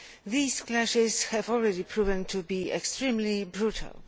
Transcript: These clashes have already proven to be extremely brutal.